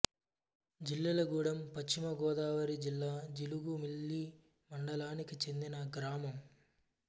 జిల్లెళ్లగూడెం పశ్చిమ గోదావరి జిల్లా జీలుగుమిల్లి మండలానికి చెందిన గ్రామం